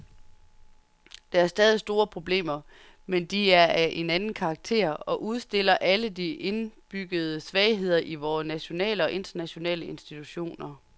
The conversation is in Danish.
Der er stadig store problemer, men de er af en anden karakter og udstiller alle de indbyggede svagheder i vore nationale og internationale institutioner.